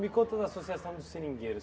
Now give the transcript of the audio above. Me conta da associação dos seringueiros.